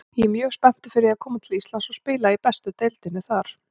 Ég er mjög spenntur fyrir að koma til Íslands og spila í bestu deildinni þar.